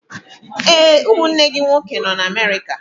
Ee, ụmụnne gị nwoke nọ na Amerika.